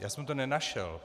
Já jsem to nenašel.